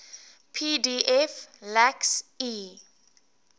pdf lacks e